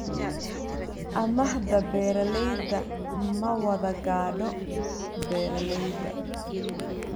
Amaahda beeralayda ma wada gaadho beeralayda.